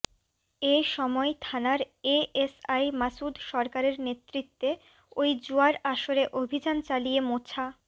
এ সময় থানার এএসআই মাসুদ সরকারের নেতৃত্বে ওই জুয়ার আসরে অভিযান চালিয়ে মোছা